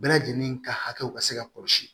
Bɛɛ lajɛlen ka hakɛw ka se ka kɔlɔsi